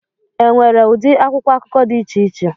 Enwere ụdị akwụkwọ akụkọ dị iche iche